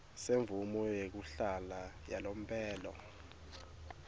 semvumo yekuhlala yalomphelo